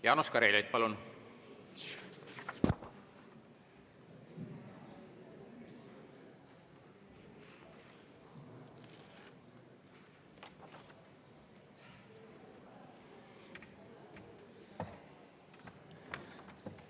Jaanus Karilaid, palun!